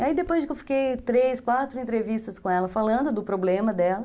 E aí depois que eu fiquei três, quatro entrevistas com ela falando do problema dela,